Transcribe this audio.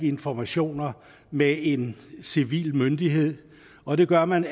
informationer med en civil myndighed og det gør man